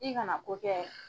I kana ko kɛ